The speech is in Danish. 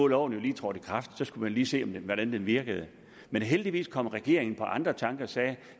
loven jo lige trådt i kraft og så skulle man lige se hvordan den virkede heldigvis kom regeringen på andre tanker og sagde at